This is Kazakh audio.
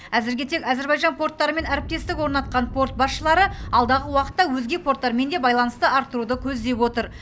әзірге тек әзербайжан порттарымен әріптестік орнатқан порт басшылары алдағы уақытта өзге порттармен де байланысты арттыруды көздеп отыр